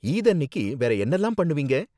ஈத் அன்னிக்கு வேற என்னலாம் பண்ணுவீங்க?